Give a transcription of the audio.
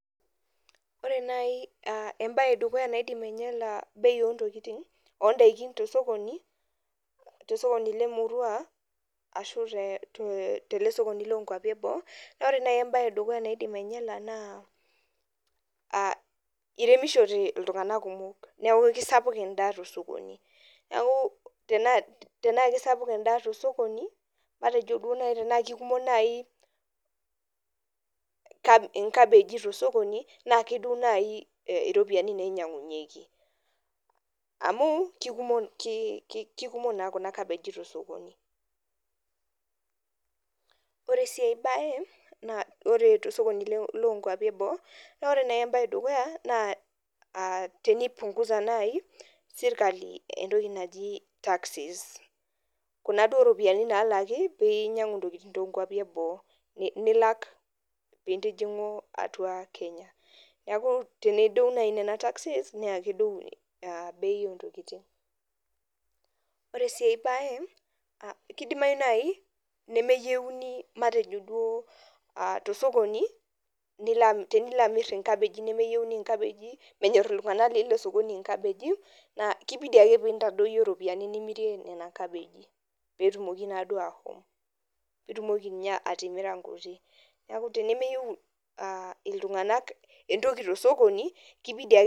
Ore nai aa embaye edukuya naidim ainyala bei oo ntokitin oo ndaikin to osokoni te sokoni le murua ashu te te tele sokoni loo nkuapi e boo, naa ore nai embaye e dukuya naidim ainyala naa aa iremishote iltung'anak kumok neeku kisapuk endaa to osokoni. Neeku tenaa tenaake isapuk endaa to osokoni matejo duo nai tenaake ikumok nai kab inkabegi to osokoni naa keduo nai iropiani nainyang'unyeki amu kikumo ki ki kikumok naa kuna kabeji to osokoni. Ore sii ai baye naa ore to osokoni loo nkupai e boo, naa ore nai embaye e dukuya naa aa tenipung'uza nai sirkali entoki naji taxes kuna duo ropiani naalaki piinyang'u ntokitin too nkuapi e boo, nilak piintijing'u atua Kenya. Neeku teneduo nai taxes niake eduo aa bei oo ntokitin. Ore sii ai baye a kidimayu nai nemeyeuni matejo duo aa to osokoni nilo ami tenilo amir inkabeji nemeyieuni inkabeji menyor iltung'anak le ilo sokoni inkabeji naa kibidi ake piintadoyio ropiani nimirie nena kabeji peetumoki naaduo aahom piitumoki nye atimira nkuti. Neeku tenemeyeu aa iltung'anak entoki to osokoni kibidi ake...